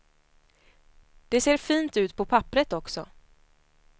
Det ser fint ut på papperet också.